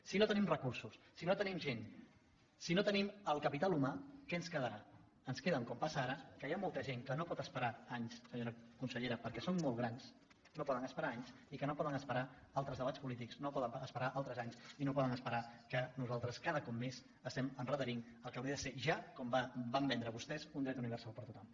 si no tenim recursos si no tenim gent si no tenim el capital humà què ens quedarà ens queda com passa ara que hi ha molta gent que no pot esperar anys senyora consellera perquè són molt grans que no poden esperar anys i que no poden esperar altres debats polítics no poden esperar altres anys i no poden esperar que nosaltres cada cop més estem endarrerint el que hauria de ser ja com van vendre vostès un dret universal per a tothom